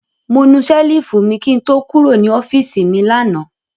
Mo nu ṣẹ́lífù mi kí n tó kúrò ní ọ́fíísì mi lánàá.